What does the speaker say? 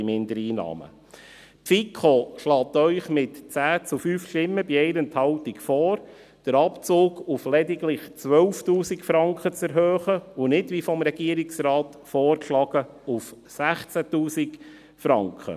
Die FiKo schlägt Ihnen mit 10 zu 5 Stimmen bei 1 Enthaltung vor, den Abzug auf lediglich 12’000 Franken zu erhöhen, und nicht, wie vom Regierungsrat vorgeschlagen, auf 16’000 Franken.